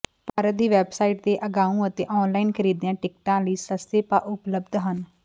park ਦੀ website ਤੇ ਅਗਾਉਂ ਅਤੇ ਆਨਲਾਈਨ ਖਰੀਦਿਆ ਟਿਕਟਾਂ ਲਈ ਸਸਤੇ ਭਾਅ ਉਪਲਬਧ ਹਨ